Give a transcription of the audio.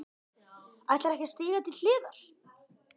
Ætlarðu ekki að stíga til hliðar?